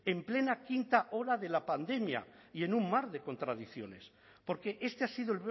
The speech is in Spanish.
en plena quinta ola de la pandemia y en un mar de contradicciones porque este ha sido